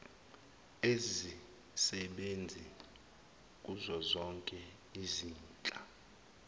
ezisebenzi kuzozoke izinhla